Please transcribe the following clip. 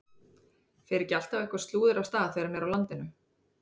Fer ekki alltaf eitthvað slúður af stað þegar hann er á landinu?